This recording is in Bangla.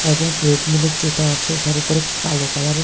এবং ট্রেডমিলের যেটা আছে ওটার উপর কালো কালারে--